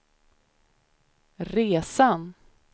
resan